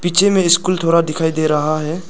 पीछे में स्कूल थोड़ा दिखाई दे रहा है।